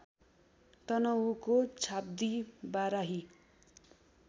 तनहुँको Chhabdi Barahi